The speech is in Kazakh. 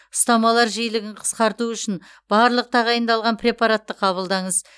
ұстамалар жиілігін қысқарту үшін барлық тағайындалған препараттарды қабылдаңыз